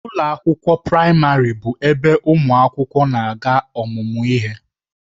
Ụlọ akwụkwọ praịmarị bụ ebe ụmụ akwụkwọ na-aga ọmụmụ ihe.